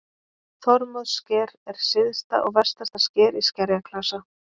Þormóðssker er syðsta og vestasta sker í skerjaklasa.